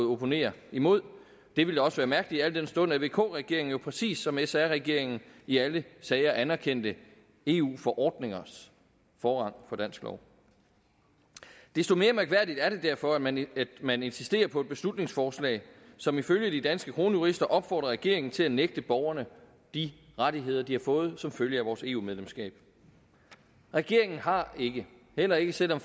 opponere imod det ville også være mærkeligt al den stund at vk regeringen præcis som sr regeringen i alle sager anerkendte eu forordningers forrang for dansk lov desto mere mærkværdigt er det derfor at man man insisterer på et beslutningsforslag som ifølge de danske kronjurister opfordrer regeringen til at nægte borgerne de rettigheder de har fået som følge af vores eu medlemskab regeringen har ikke heller ikke selv om